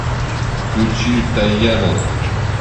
включи таяна